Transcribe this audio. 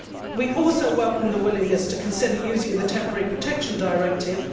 We also welcome the willingness to consider using the Temporary Protection Directive.